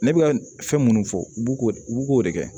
Ne bɛ ka fɛn minnu fɔ bugo bu k'o de kɛ